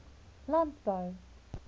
landbou